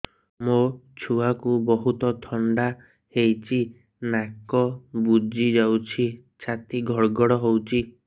ମୋ ଛୁଆକୁ ବହୁତ ଥଣ୍ଡା ହେଇଚି ନାକ ବୁଜି ଯାଉଛି ଛାତି ଘଡ ଘଡ ହଉଚି